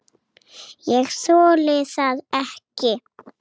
Ég þoli það ekki,